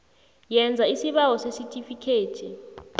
yenza isibawo sesitifikhethi